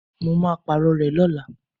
Mo máa Pààrọ̀ rẹ̀ lọ́la